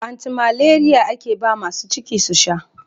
Anti malariya ake ba masu ciki su sha.